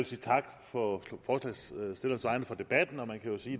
sige tak for debatten og man kan jo sige